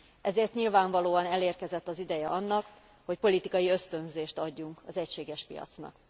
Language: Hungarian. Ezért nyilvánvalóan elérkezett az ideje annak, hogy politikai ösztönzést adjunk az egységes piacnak.